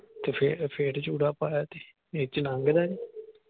ਤੇ ਫਿਰ ਫਿਰ ਚੂੜਾ ਪਾਇਆ ਆ ਤੇ ਇਹ ਵਿਚ ਨੰਗਦਾ ਨੀ।